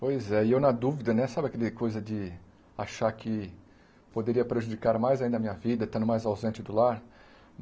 Pois é, e eu na dúvida né, sabe aquela coisa de achar que poderia prejudicar mais ainda a minha vida, estando mais ausente do lar?